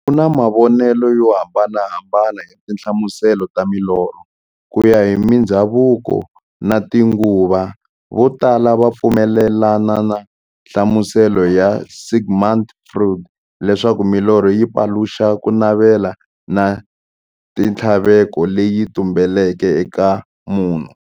Ku na mavonele yo hambanahambana ya tinhlamuselo ta milorho, kuya hi mindzhavuko na tinguva. Vo tala va pfumelana na nhlamuselo ya Sigmund Freud, leswaku milorho yi paluxa kunavela na minthlaveko leyi tumbeleke eka munhu.